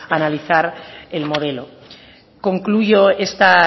analizar el modelo concluyo esta